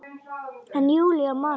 En Júlía man ekki.